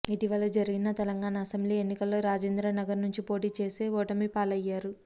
ఇటీవల జరిగిన తెలంగాణ అసెంబ్లీ ఎన్నికల్లో రాజేంద్రనగర్ నుంచి పోటీ చేసి ఓటమిపాలయ్యారు